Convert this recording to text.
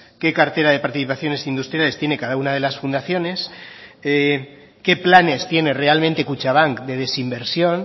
qué cartera de participaciones industriales tiene cada una de las fundaciones qué planes tiene realmente kutxabank de desinversión